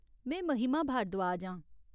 में महिमा भारद्वाज आं।